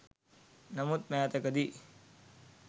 නමුත් මෑතකදී